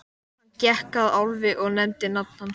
Hann gekk að Álfi og nefndi nafn hans.